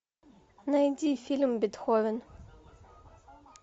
найди фильм бетховен